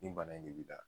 Nin bana in de b'i la